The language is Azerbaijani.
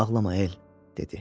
Ağlama El, dedi.